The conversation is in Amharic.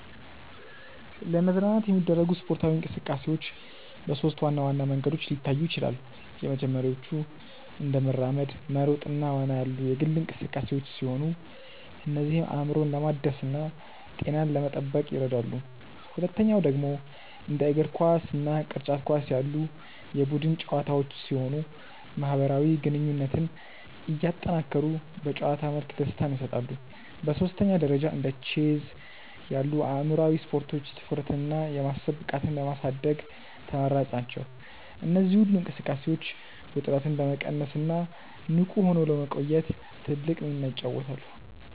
ለመዝናናት የሚደረጉ ስፖርታዊ እንቅስቃሴዎች በሦስት ዋና ዋና መንገዶች ሊታዩ ይችላሉ። የመጀመሪያዎቹ እንደ መራመድ፣ መሮጥ እና ዋና ያሉ የግል እንቅስቃሴዎች ሲሆኑ እነዚህም አእምሮን ለማደስና ጤናን ለመጠበቅ ይረዳሉ። ሁለተኛው ደግሞ እንደ እግር ኳስ እና ቅርጫት ኳስ ያሉ የቡድን ጨዋታዎች ሲሆኑ ማህበራዊ ግንኙነትን እያጠናከሩ በጨዋታ መልክ ደስታን ይሰጣሉ። በሦስተኛ ደረጃ እንደ ቼዝ ያሉ አእምሯዊ ስፖርቶች ትኩረትንና የማሰብ ብቃትን ለማሳደግ ተመራጭ ናቸው። እነዚህ ሁሉ እንቅስቃሴዎች ውጥረትን ለመቀነስና ንቁ ሆኖ ለመቆየት ትልቅ ሚና ይጫወታሉ።